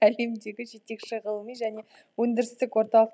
әлемдегі жетекші ғылыми және өндірістік орталық